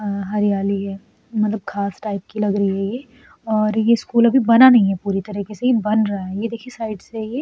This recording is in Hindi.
आ हरयाली है। मतलब घास टाइप की लग रही है ये और ये स्कूल अभी बना नही है पूरे तरीके से ये बन रहा है। ये देखिये ये साइड से ये --